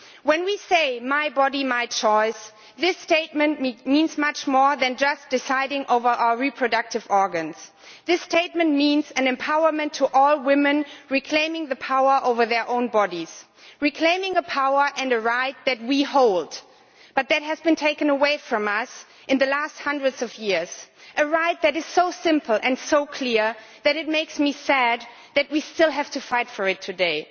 When we say my body, my choice' this statement means much more than just deciding in relation to our reproductive organs. It means empowerment for all women, reclaiming the power over their own bodies, reclaiming a power and a right that we hold, but that have been taken away from us in the last hundreds of years a right that is so simple and so clear that it makes me sad that we still have to fight for it today.